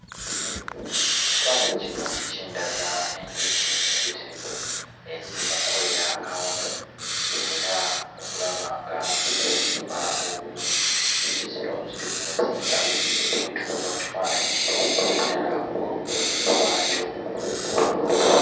Ekifaananyi kino kindaga enjuki empitirivu eziri mu kukolera awamu era okulaba nga zizimba obumu. Enjuki zino ziri ku muzinga bwe ntunuulira ku kifaananyi kino naddala waggulu waakyo.